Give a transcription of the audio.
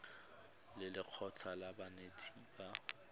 le lekgotlha la banetetshi ba